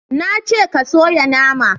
Na ce ka soya nama!